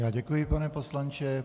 Já děkuji, pane poslanče.